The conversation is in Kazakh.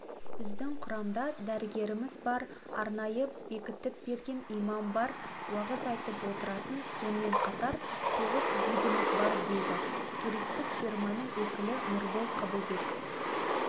біздің құрамда дәрігеріміз бар арнайы бекітіп берген имам бар уағыз айтып отыратын сонымен қатар тоғыз гидіміз бар дейді туристікфирманыңөкілі нұрболқабылбек